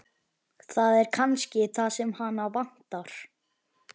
Það er kannski það sem hana vantar.